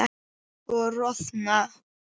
Og roðna.